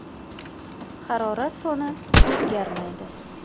Harorat foni o‘zgarmaydi.